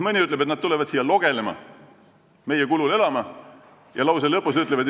Mõni ütleb, et nad tulevad siia logelema, meie kulul elama ja lõpuks ütlevad: "...